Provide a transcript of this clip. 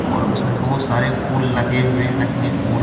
और उसमें बहुत सारे फूल लगे हुए नकली फूड.